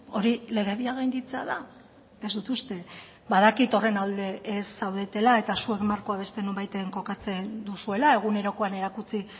hori legedia gainditzea da ez dut uste badakit horren alde ez zaudetela eta zuek markoa beste nonbaiten kokatzen duzuela egunerokoan erakutsi